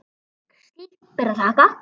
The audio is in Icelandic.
Slíkt ber að þakka.